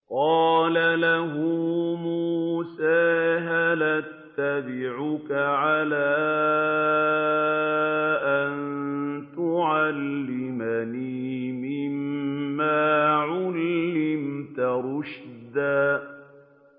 قَالَ لَهُ مُوسَىٰ هَلْ أَتَّبِعُكَ عَلَىٰ أَن تُعَلِّمَنِ مِمَّا عُلِّمْتَ رُشْدًا